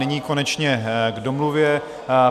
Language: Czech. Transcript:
Nyní konečně k domluvě.